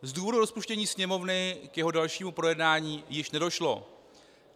Z důvodu rozpuštění Sněmovny k jeho dalšímu projednání již nedošlo.